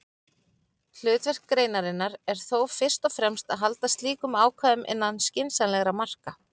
Hlutverk greinarinnar er þó fyrst og fremst að halda slíkum ákvæðum innan skynsamlegra marka.